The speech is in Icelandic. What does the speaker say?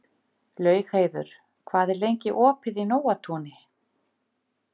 Laugheiður, hvað er lengi opið í Nóatúni?